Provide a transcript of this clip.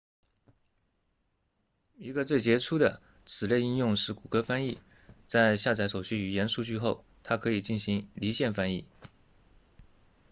一个最杰出的此类应用是谷歌翻译在下载所需语言数据后它可以进行离线翻译